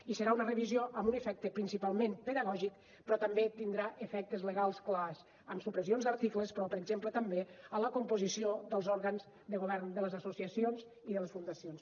i serà una revisió amb un efecte principalment pedagògic però també tindrà efectes legals clars amb supressions d’articles però per exemple també en la composició dels òrgans de govern de les associacions i de les fundacions